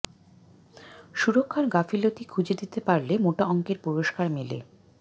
সুরক্ষার গাফিলতি খুঁজে দিতে পারলে মোটা অংকের পুরস্কার মেলে